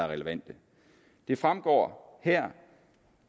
relevante det fremgår her